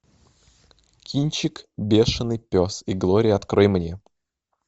кинчик бешеный пес и глория открой мне